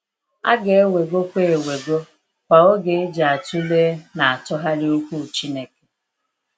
A ga ewego kwa ewego kwa oge eji atụlee na atụghalị okwu Chineke.